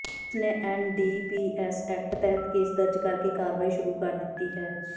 police ਨੇ NDPS act ਤਹਿਤ case ਦਰਜ ਕਰਕੇ ਕਾਰਵਾਈ ਸ਼ੁਰੂ ਕਰ ਦਿੱਤੀ ਹੈ